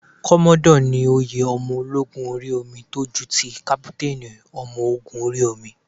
Kọ́mọ́dọ̀ ni oyè ọmọ ológun orí omi tó ju ti kápútánì ọmọ ogún orí omi.